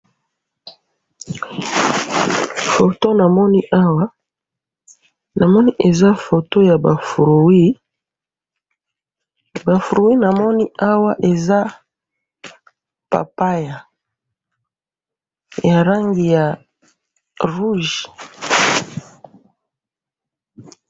foto namoni awa namoni eza foto yaba fruit ba fruit namoni awa eza papaya ya langi ya rouge